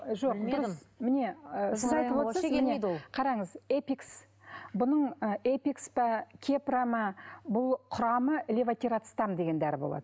жоқ міне ы сіз айтып отырсыз қараңыз эпикс бұның ы эпикс па кепра ма бұл құрамы левотерацетам деген дәрі болады